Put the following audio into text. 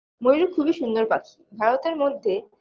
ময়ূর খুবই সুন্দর পাখি ভারতের মধ্যে